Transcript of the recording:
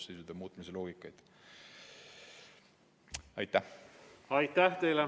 Aitäh teile!